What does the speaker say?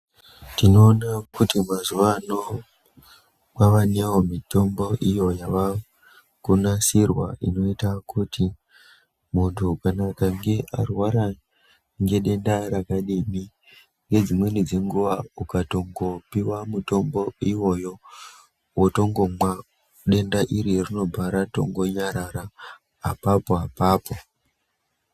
Tinoona kuti mazuwa ano kwava neiyo mitombo yavakunasirwa inoita kuti muntu kana akange arwara ngedenda rakadini nedzimweni dzenguwa ukatongopiwa mutombo iwoyo wotongomwa denda iri rinobva ratongo nyarara apapo apapo.